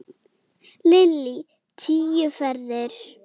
Lillý: Tíu ferðir?